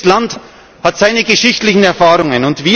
Jedes Land hat seine geschichtlichen Erfahrungen.